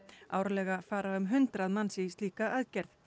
árlega fara um hundrað manns í slíka aðgerð